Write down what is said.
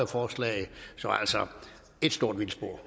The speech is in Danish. forslag så altså ét stort vildspor